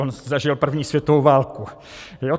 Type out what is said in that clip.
On zažil první světovou válku.